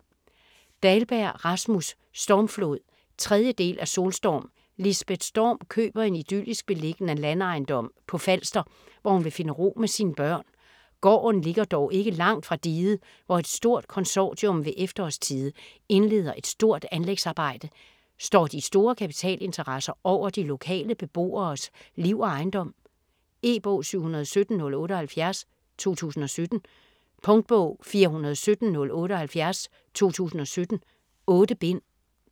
Dahlberg, Rasmus: Stormflod 3. del af Solstorm. Lisbeth Storm køber en idyllisk beliggende landejendom på Falster, hvor hun vil finde ro med sine børn. Gården ligger dog ikke langt fra diget, hvor et stort konsortium ved efterårstide indleder et stort anlægsarbejde. Står de store kapitalinteresser over de lokale beboeres liv og ejendom? E-bog 717078 2017. Punktbog 417078 2017. 8 bind.